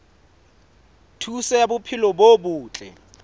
thuso ya bophelo bo botle